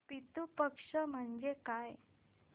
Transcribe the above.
पितृ पक्ष म्हणजे काय